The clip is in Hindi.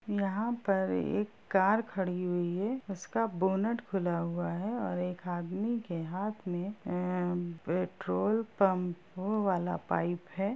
यहाँ पर एक कार खड़ी हुई है उसका बोनट खुला हुआ है और एक आदमी के हाथ में अ पेट्रोल पंपो वाला पाइप है।